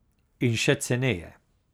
In še ceneje.